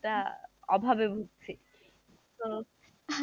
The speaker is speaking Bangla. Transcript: টা অভাবে ভুগছি তো,